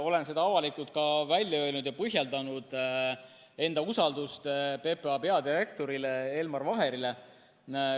Olen avalikult välja öelnud ja põhjendanud enda usaldust PPA peadirektori Elmar Vaheri vastu.